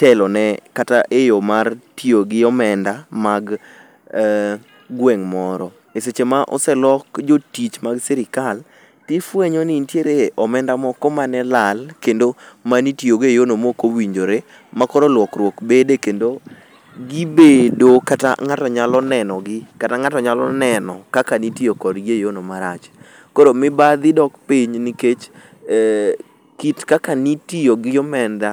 telone kata e yo mar tiyo gi omenda mag gweng' moro. E seche ma oselok jotich mag sirikal, ifwenyo ni nitie omenda moko mane lal kendo manitiyogo e yono mokowinjore, makoro lokruok bede kendo gibedo kata ng'ato nyalo nenogi, kata ng'ato nyalo neno kaka nitiyo kodgi e yono marach. Koro mibadhi dok piny nikech kit kaka nitiyo gi omenda